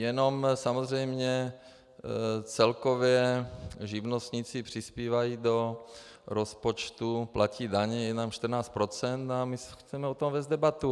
Jenom samozřejmě celkově živnostníci přispívají do rozpočtu, platí daně jenom 14 %, a my chceme o tom vést debatu.